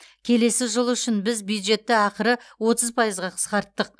келесі жыл үшін біз бюджетті ақыры отыз пайызға қысқарттық